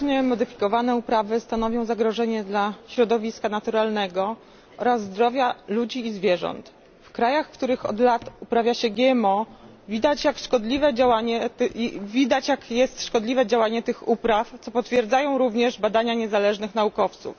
Genetycznie modyfikowane uprawy stanowią zagrożenie dla środowiska naturalnego oraz zdrowia ludzi i zwierząt. W krajach, w których od lat uprawia się GMO, widać jak jest szkodliwe działanie tych upraw, co potwierdzają również badania niezależnych naukowców.